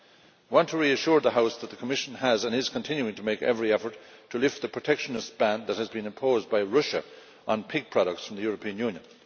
I want to reassure the House that the Commission has and is continuing to make every effort to lift the protectionist ban that has been imposed by Russia on pig products from the European Union.